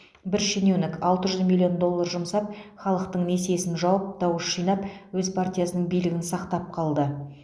бір шенеунік алты жүз миллион доллар жұмсап халықтың несиесін жауып дауыс жинап өз партиясының билігін сақтап қалды